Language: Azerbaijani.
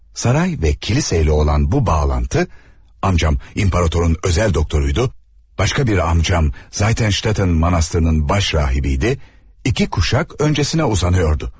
Saray və kilsəylə olan bu bağlantı, amcam imperatorun özəl doktoruydu, başqa bir amcam Zatenştatın monastırının baş rahibiydi, iki kuşak öncəsinə uzanırdı.